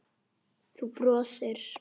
Þú brosir.